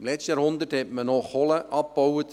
Im letzten Jahrhundert baute man noch Kohle ab.